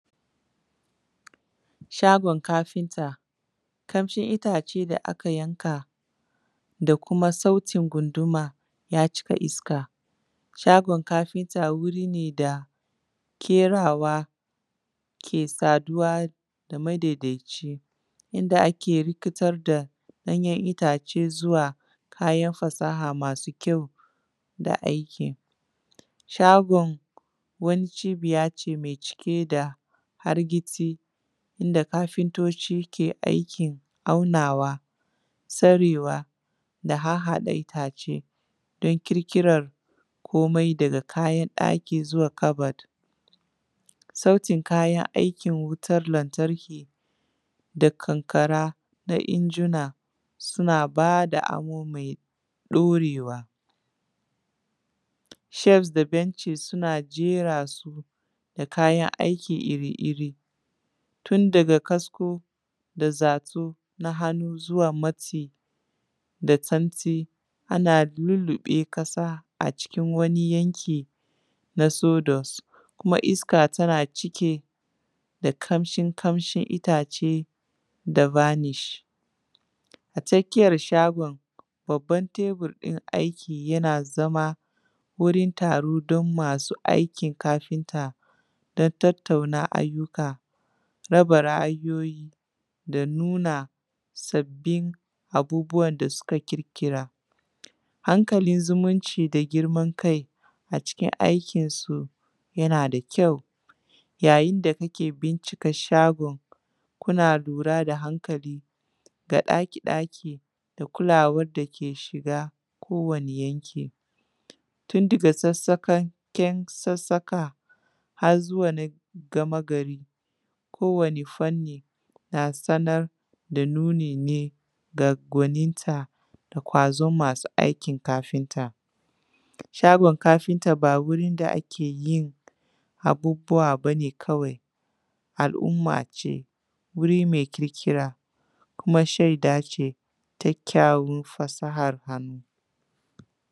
Shagon kafinta, kamshin itace da aka yanka da kuma sautin gunduma ya cika iska, shagon kafinta wuri ne da kerawa ke saduwa da madaidaici inda ake rikitar da danyen itace zuwa hanyoyin fasaha masu kyau da aikin, shagon wani cibiya ce mai cike da hargizi inda kafintoci ke aikin haunawa tsarewa da harhaɗa itace don ƙirkirar komai daga kayan ɗaki zuwa kabad, sautin kayan aikin wutar lantarki da kankara da injina suna bada amo mai ɗaurewa, shelfs da benci suna jera su da kayan aiki iri-iri tun daga kasko da zatu na hannu zuwa matsi da tsantsi ana lullube kasa a cikin wani yanki na sodose kuma iska tana cike da kamshi kamshi itace da vanich a tsakiyar shagon babban teburin aiki yana zama wurin taro don masu aikin kafinta don tattauna ayyuka raba ra’ayoyi da nuna sabbin abubuwan da suka kirkira hankalin zumunci da girman kai a cikin aikinsu yana da kyau yayin yayin da kake bincika shagon kuna lura da hankali ga ɗaki-ɗaki da kulawan da ke shiga kowane yanki tun daga sassaka har zuwa gama gari kowane fanni na sanar da nuni ne da gwaninta gwazon masu aikin kafinta, shagon kafinta ba wurin da ake yi abubuwa bane kawai al’umma ce wuri mai kirkira kuma shaida ce kyakyawon fasahar hannu.